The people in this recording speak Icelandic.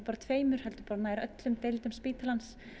tveimur heldur nær öllum deildum spítalans